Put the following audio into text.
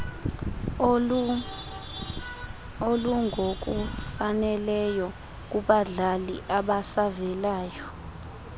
olungokufaneleyo kubadlali abasavelayo